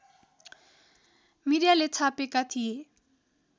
मिडियाले छापेका थिए